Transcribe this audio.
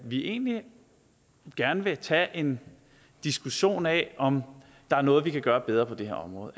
vi egentlig gerne vil tage en diskussion af om der er noget vi kan gøre bedre på det her område